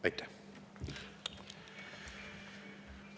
Aitäh!